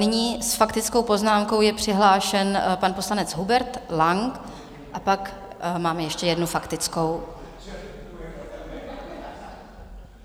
Nyní s faktickou poznámkou je přihlášen pan poslanec Hubert Lang a pak máme ještě jednu faktickou.